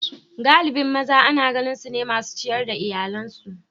galibin maza Ana ganin su ne masu ciyar da iyalansu